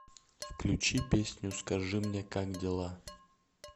включи песню скажи мне как дела